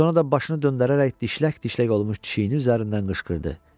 Sonra da başını döndərərək dişlək-dişlək olmuş kişiyinin üzərindən qışqırdı.